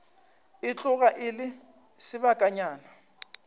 e tloga e le sebakanyana